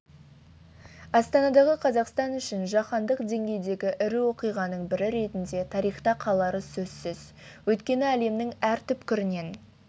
астанадағы қазақстан үшін жаһандық деңгейдегі ірі оқиғаның бірі ретінде тарихта қалары сөзсіз өйткені әлемнің әр түкпірінен